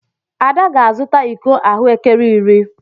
Ada ga-azụta iko ahụekere iri.